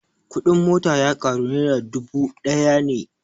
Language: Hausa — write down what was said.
Kuɗin mota ya ƙaru nera dubu ɗaya ne